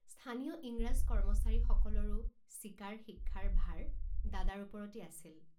স্থানীয় ইংৰাজ কৰ্মচাৰীসকলৰো চিকাৰ শিক্ষাৰ ভাৰ দাদাৰ ওপৰতেই আছিল।